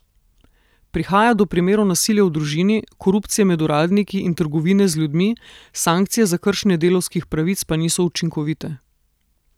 Prihaja do primerov nasilja v družini, korupcije med uradniki in trgovine z ljudmi, sankcije za kršenje delavskih pravic pa niso učinkovite.